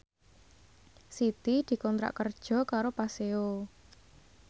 Siti dikontrak kerja karo Paseo